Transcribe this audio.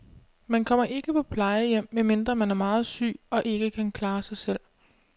Man kommer ikke på plejehjem, medmindre man er meget syg og ikke kan klare sig selv.